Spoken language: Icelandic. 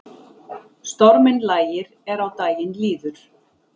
Storminn lægir er á daginn líður